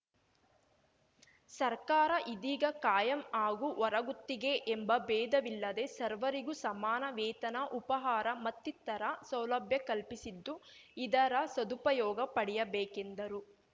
ಸರ್ಕಾರ ಇದೀಗ ಕಾಯಂ ಹಾಗೂ ಹೊರಗುತ್ತಿಗೆ ಎಂಬ ಭೇದವಿಲ್ಲದೆ ಸರ್ವರಿಗೂ ಸಮಾನ ವೇತನ ಉಪಹಾರ ಮತ್ತಿತರ ಸೌಲಭ್ಯ ಕಲ್ಪಿಸಿದ್ದು ಇದರ ಸದುಪಯೋಗ ಪಡೆಯಬೇಕೆಂದರು